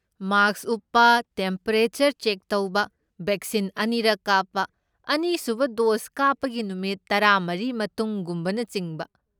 ꯃꯥꯛꯁ ꯎꯞꯄ, temperature check ꯇꯧꯕ, vaccine ꯑꯅꯤꯔꯛ ꯀꯥꯞꯄ, ꯑꯅꯤꯁꯨꯕ ꯗꯣꯁ ꯀꯞꯄꯒꯤ ꯅꯨꯃꯤꯠ ꯇꯔꯥꯃꯔꯤ ꯃꯇꯨꯡ, ꯒꯨꯝꯕꯅꯆꯤꯡꯕ